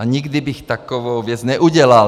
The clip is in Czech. A nikdy bych takovou věc neudělal.